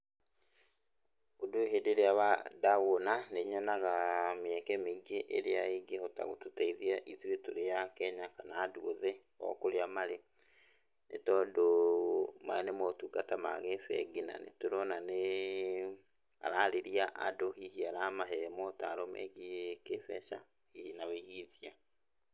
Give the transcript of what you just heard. Ũndũ ũyũ hĩndĩ-ĩrĩa ndawona, nĩnyonaga mĩeke mĩingĩ ĩrĩa ĩngĩhota gũtũteithia ithuĩ tũrĩ Akenya kana andũ othe o kũrĩa marĩ, nĩtondũ maya nĩ motungata ma gĩbengi na nĩtũrona nĩ ararĩria andũ hihi aramahe motaro megiĩ kĩmbeca, hihi na wĩigi mbia.